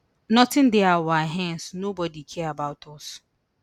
notin dey our hands nobodi care about us